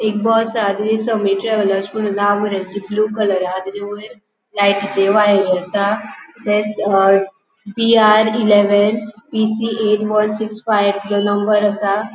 एक बस हा नाव बरेले ब्लु कलर हा तेजे वयर लायटीच्यो वायरी आसा P R eleven P C eight one six five तेजो नंबर आसा.